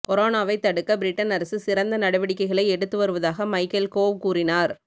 கொரோனாவை தடுக்க பிரிட்டன் அரசு சிறந்த நடவடிக்கைகளை எடுத்து வருவதாக மைக்கேல் கோவ் கூறினார்